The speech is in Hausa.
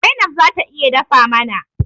Zainab zata iya dafa mana.